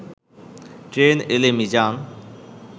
train এলে মিজান